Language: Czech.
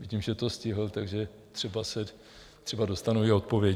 Vidím, že to stihl, takže třeba dostanu i odpověď.